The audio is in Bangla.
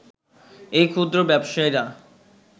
এই ক্ষুদ্র ব্যবসায়ীরা